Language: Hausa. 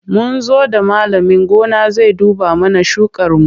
Mun zo da malamin gona zai duba mana shukarmu.